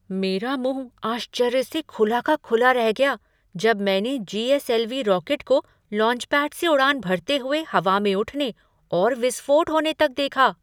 मेरा मुँह आश्चर्य से खुला का खुला रह गया जब मैंने जी.एस.एल.वी. रॉकेट को लॉन्चपैड से उड़ान भरते हुए हवा में उठने और विस्फोट होने तक देखा।